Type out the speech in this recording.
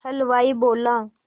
हलवाई बोला